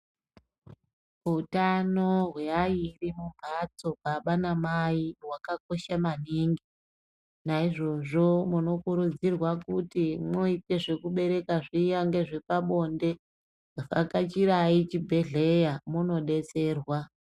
Utano hweairi mumbatso baba namai hwakakosha maningi, naizvozvo munokurudzirwa kuti mwoite zvekubereka zviya nezvepabonde vhakachai chibhedhleya mwodetserwa.